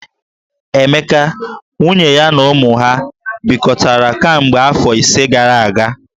Emeka, nwunye ya na ụmụ ha bikọtara kemgbe afọ ise gara aga.